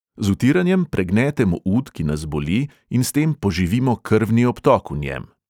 Z vtiranjem pregnetemo ud, ki nas boli, in s tem poživimo krvni obtok v njem.